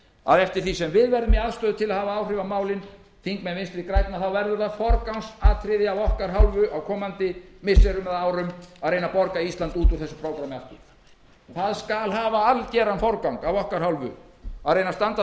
að eftir því sem við verðum í aðstöðu til að hafa áhrif á málin þingmenn vinstri grænna verður það forgangsatriði af okkar hálfu á komandi missirum eða árum að reyna að borga ísland út úr þessu prógrammi aftur það skal hafa algeran forgang af okkar hálfu að reyna að standa